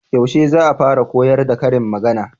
Yaushe za'a fara koyar da karin magana?